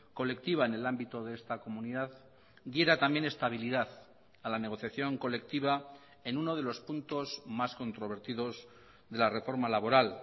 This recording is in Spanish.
colectiva en el ámbito de esta comunidad diera también estabilidad a la negociación colectiva en uno de los puntos más controvertidos de la reforma laboral